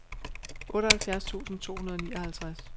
otteoghalvfjerds tusind to hundrede og nioghalvtreds